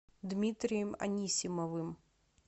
дмитрием анисимовым